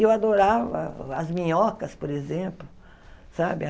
E eu adorava as minhocas, por exemplo, sabe?